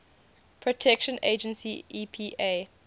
protection agency epa